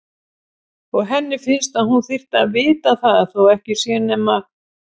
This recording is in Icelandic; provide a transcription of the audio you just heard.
Og henni finnst að hún þyrfti að vita það þó ekki sé nema